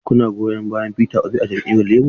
Shin kuna goyon bayan Peter Obi na Jam'iyyar Labour?